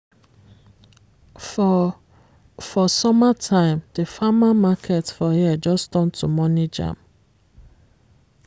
for for summer time di farmer market for here just turn to money jam.